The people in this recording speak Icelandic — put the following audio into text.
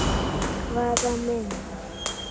Hvaða mynd?